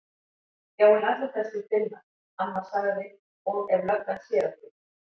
Já en allir þessir Finnar. amma sagði. og ef löggan sér okkur.